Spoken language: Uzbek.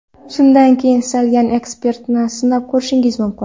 Shundan keyin istalgan eksperimentni sinab ko‘rishingiz mumkin.